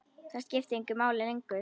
Það skipti engu máli lengur.